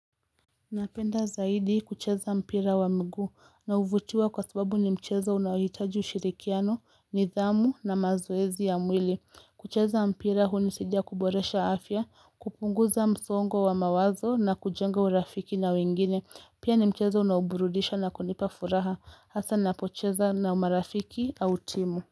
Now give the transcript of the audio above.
Napenda zaidi kucheza mpira wa mguu na uvutiwa kwa sababu ni mcheza unahitaji ushirikiano, nizamu na mazowezi ya mwili. Kucheza mpira hunisidia kuboresha afya, kupunguza msongo wa mawazo na kujenga urafiki na wengine. Pia ni mcheza unaburudisha na kunipa furaha hasa napocheza na umarafiki au timu.